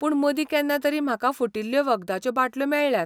पूण मदीं केन्ना तरी म्हाका फुटिल्ल्यो वखदाच्यो बाटल्यो मेळ्ळ्यात.